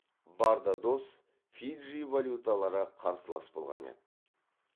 бардадос фиджи валюталары қарсылас болған еді